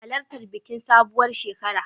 Halartar bikin sabuwar shekara.